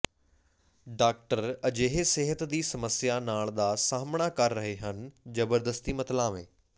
doctor ਅਜਿਹੇ ਸਿਹਤ ਦੀ ਸਮੱਸਿਆ ਨਾਲ ਦਾ ਸਾਹਮਣਾ ਕਰ ਰਹੇ ਹਨ ਜਬਰਦਸਤੀ ਮਤਵਾਲੇ